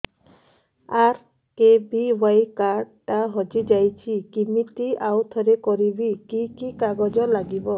RKBY card ଟା ହଜିଯାଇଛି କିମିତି ଆଉଥରେ କରିବି କି କି କାଗଜ ଲାଗିବ